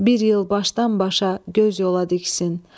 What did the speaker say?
Bir il başdan-başa göz yola diksin.